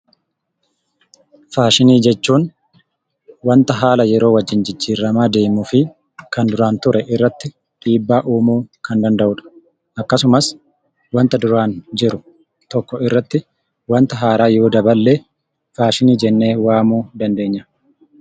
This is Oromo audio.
Faashinii jechuun wanta haala yeroo wajjin jijjiiramaa deemuu fi kan duraan ture irratti dhiibbaa uumuu kan danda'uu dha. Akkasumas, wanta duraan jiru tokko irratti wanta haaraa yoo daballe, faashinii jennee waamuu dandeenya.